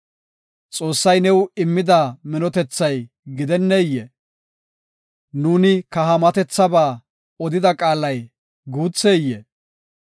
“Xoossay new immida minthethoy gidenneyee? nuuni kahaamatethaba odida qaalay guutheyee?